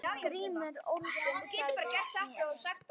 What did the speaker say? GRÍMUR: Ólyginn sagði mér.